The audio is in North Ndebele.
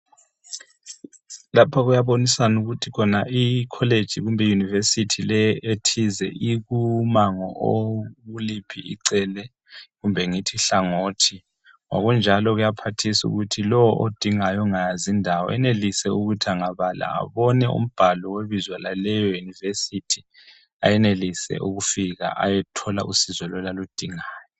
Lapha kuyaboniswana ukuthi I college kumbe I University ethize ikumango okuliphi icele kumbe uhlangothi. Ngokunjalo kuyaphathisa ukuthi lo odingayo ongayazi indawo enelise ukuthi angabala abone umbhalo webizo laleyo University enelise ukufika ayethola usizo lolo aludingayo.